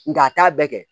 Nga a t'a bɛɛ kɛ